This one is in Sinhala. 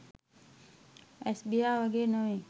ඇස්බියා වගේ නෙවයි